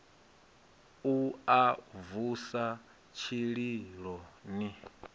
u a vusa tshililo ni